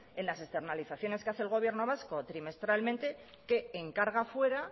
en la externalizaciones que hace el gobierno vasco trimestralmente que encarga fuera